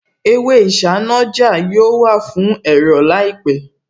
Èwe isanaja yóò wà fún ẹ̀rọ̀ láìpẹ̀